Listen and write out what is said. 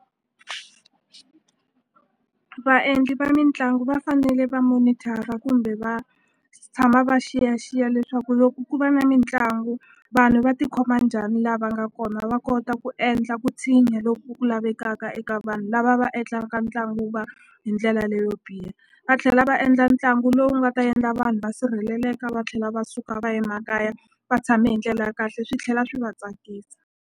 Vaendli va mitlangu va fanele va monitor-a kumbe va tshama va xiyaxiya leswaku loko ku va na mitlangu vanhu va ti khoma njhani lava nga kona va kota ku endla ku tshinya loku lavekaka eka vanhu lava va endlaka ntlangu wu va hi ndlela leyo biha va tlhela va endla ntlangu lowu nga ta endla vanhu va sirheleleka va tlhela va suka va ye makaya va tshame hi ndlela ya kahle swi tlhela swi va tsakisa.